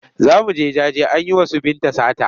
Za mu je jaje an yi wa su Binta sata.